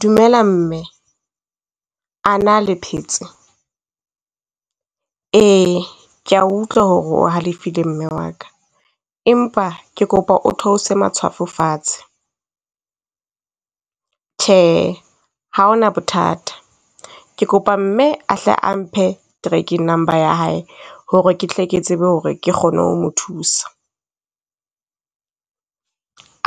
Dumela mme, a na le phetse? Ee, ke a utlwa ho re o halefile mme wa ka, empa ke kopa o theose matshwafo fatshe. Tjhe, ha hona bothata, ke kopa mme a hle a mphe tracking number ya hae, ho re ke tle ke tsebe ho re ke kgone ho mo thusa.